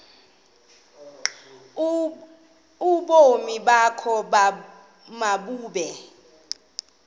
ubomi bakho mabube